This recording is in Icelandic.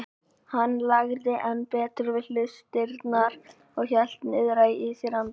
Hún lagði enn betur við hlustirnar og hélt niðri í sér andanum.